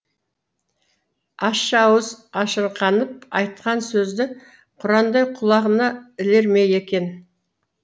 ащы ауыз ашырқанып айтқан сөзді құрандай құлағына ілер ме екен